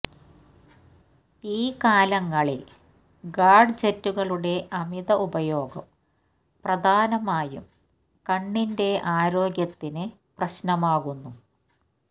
ഈ കാലങ്ങളില് ഗാഡ്ജെറ്റുകളുടെ അമിത ഉപയോഗം പ്രധാനമായും കണ്ണിന്റെ ആരോഗ്യത്തിന് പ്രശ്നമാകുന്നു